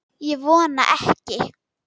Ég vona ekki